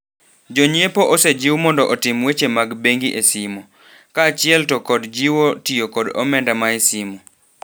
Jonyiepo osejiw mondo otim weche mag bengi e simo. Kaachiel to kod jiwo tio kod omenda mae simo.